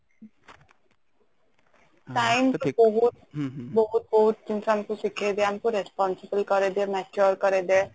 time ବହୁତ ବହୁତ ଜିନିଷ ଆମକୁ ଶିଖେଇ ଦିଏ ଆମକୁ responsible କରେଇଦିଏ mature କରେଇଦିଏ